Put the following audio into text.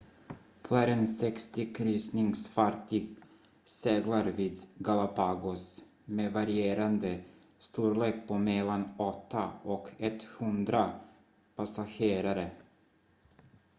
fler än 60 kryssningsfartyg seglar vid galapagos med varierande storlek på mellan 8 och 100 passagerare